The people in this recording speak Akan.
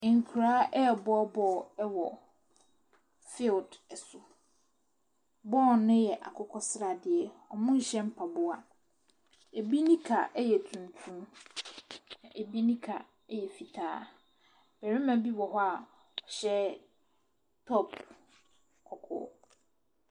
Nkoraa ɛɛbɔ bɔɔl ɛwɔ feeld ɛso, bɔɔl ne yɛ akokɔ sradeɛ ɔmo nhyɛ mpaboa. Ebi nnika ɛyɛ tuntum, ebi nika ɛyɛ fitaa. Bɛrima bi wɔ hɔ a ɔhyɛ tɔp kɔkɔɔ.